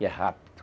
E é rápido.